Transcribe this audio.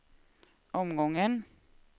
omgången